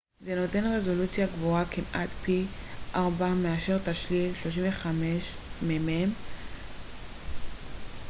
"זה נותן רזולוציה גבוהה כמעט פי 4 מאשר תשליל 35 מ""מ 3136 מ""מ רבוע לעומת 864.